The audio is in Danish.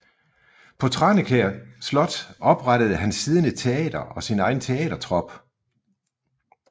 På Tranekær Slot oprettede han siden et teater og sin egen teatertrup